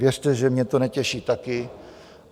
Věřte, že mě to netěší taky.